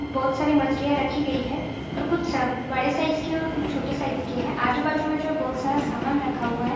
बहुत सारे मछलिया रखी गई हैं। और कुछ बड़े साईज की और कुछ छोटे साइज के है। आजू-बाजु में जो है बहुत सारा सामान रखा हुआ हैं।